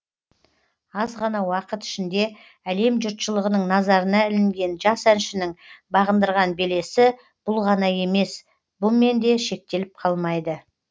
аз ғана уақыт ішінде әлем жұртшылығының назарына ілінген жас әншінің бағындырған белесі бұл ғана емес бұмен де шектеліп қалмайды